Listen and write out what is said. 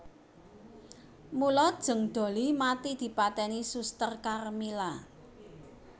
Mula Jeng Dollie mati dipateni Suster Karmila